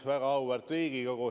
Väga auväärt Riigikogu!